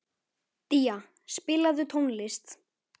Día, spilaðu tónlist.